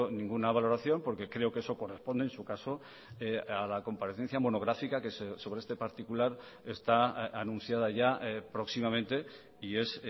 ninguna valoración porque creo que eso corresponde en su caso a la comparecencia monográfica que sobre este particular está anunciada ya próximamente y es